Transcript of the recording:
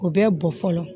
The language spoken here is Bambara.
O bɛ bɔn fɔlɔ